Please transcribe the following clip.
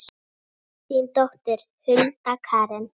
Þín dóttir, Hulda Karen.